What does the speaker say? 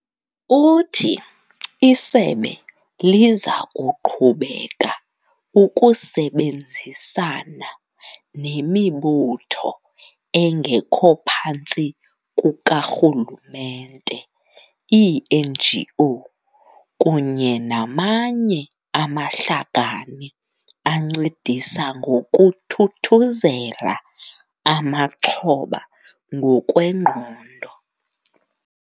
Uthi isebe liza kuqhubeka ukusebenzisana nemibutho engekho phantsi kukarhululemente, ii-NGO, kunye namanye amahlakani ancedisa ngokuthuthuzela amaxhoba ngokwengqondo.